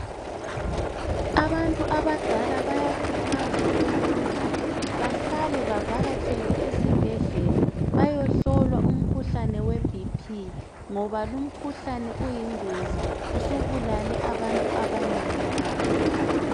Abantu abadala bayakhuthazwa ukuthi bahlale bavakatshele esibhedlela bayehlolwa umkhuhlane webp ngoba lumkhuhlane uyingozi usubulale abantu abanengi kakhulu.